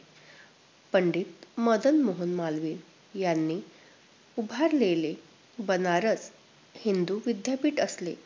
पंडित मदन मोहन मालविय यांनी उभारलेले बनारस हिंदू विद्यापीठ असले.